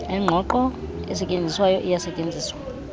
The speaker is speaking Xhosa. engqongqo esetyenziswayo iyasetyenziswa